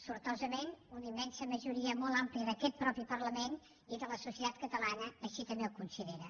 sortosament una immensa majoria molt àmplia d’aquest mateix parlament i de la societat catalana així també ho considera